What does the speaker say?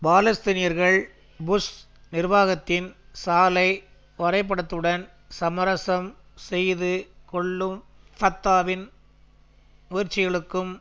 பாலஸ்தீனியர்கள் புஷ் நிர்வாகத்தின் சாலை வரைபடத்துடன் சமரசம் செய்து கொள்ளும் ஃபத்தாவின் முயற்சிகளுக்கும்